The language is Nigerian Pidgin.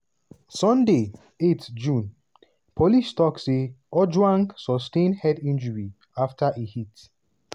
sunday 8 june - policetok say ojwang "sustain head injuries afta e hit